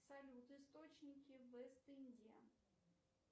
салют источники вест индия